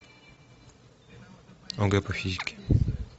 огэ по физике